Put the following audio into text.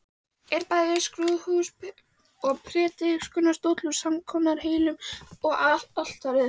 Er bæði skrúðhús og prédikunarstóll úr samskonar hellum og altarið.